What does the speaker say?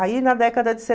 Aí na década de